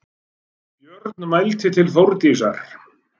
Björn mælti til Þórdísar